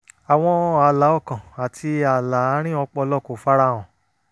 àwọn ààlà ọkàn àti ààlà àárín ọpọlọ kò fara hàn